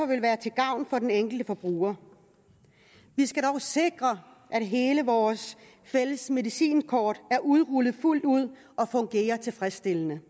vil være til gavn for den enkelte forbruger vi skal dog sikre at hele vores fælles medicinkort er udrullet fuldt ud og fungerer tilfredsstillende